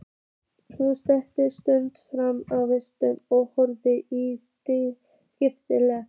Hún studdist fram á vaskinn og horfði í spegilinn.